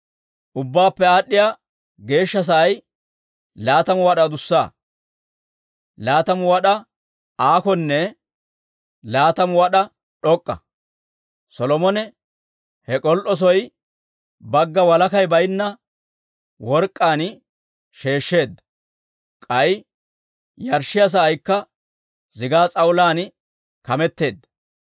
Ubbaappe Aad'd'iyaa Geeshsha Sa'ay laatamu wad'aa adussa, laatamu wad'aa aakonne laatamu wad'aa d'ok'k'a. Solomone he k'ol"oo soo bagga walakay baynna work'k'aan sheeshsheedda. K'ay yarshshiyaa sa'aykka zigaa s'awulaan kameteedda.